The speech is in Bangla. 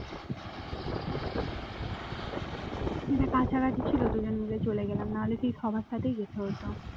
এটা কাছাকাছি ছিল দুজন মিলে চলে গেলাম না হলে সেই সবার সাথেই যেতে হতো।